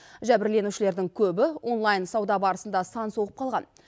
жәбірленушілердің көбі онлайн сауда барысында сан соғып қалған